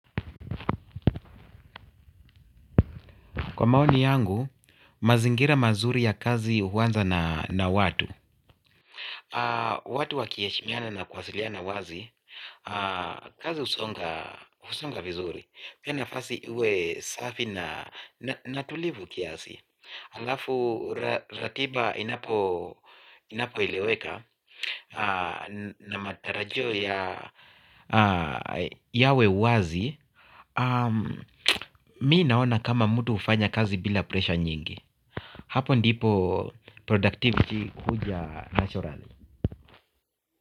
Kwa maoni yangu, mazingira mazuri ya kazi huwanza na watu. Watu wa kieheshimiana na kuwasiliana wazi. Kazi usonga vizuri pia nafasi iwe safi na tulivu kiasi alafu ratiba inapo eleweka. Na matarajio yawe wazi. Mimi naona kama mtu hufanya kazi bila presha nyingi hapo ndipo produktiviti huja nachorali.